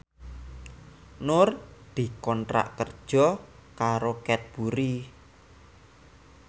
Nur dikontrak kerja karo Cadbury